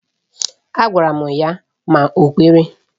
Agwara m ya ma o kwere.